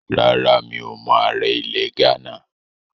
Rárá, mi ò mọ ààrẹ ilẹ̀ Ghánà